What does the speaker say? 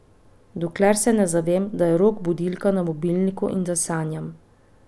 Dokler se ne zavem, da je rog budilka na mobilniku in da sanjam.